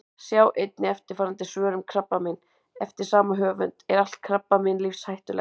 Sjá einnig eftirfarandi svör um krabbamein: Eftir sama höfund Er allt krabbamein lífshættulegt?